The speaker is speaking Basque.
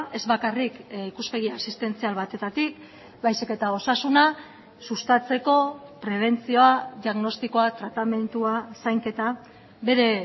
ez bakarrik ikuspegi asistentzial batetatik baizik eta osasuna sustatzeko prebentzioa diagnostikoa tratamendua zainketa bere